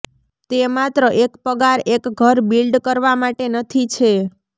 તે માત્ર એક પગાર એક ઘર બિલ્ડ કરવા માટે નથી છે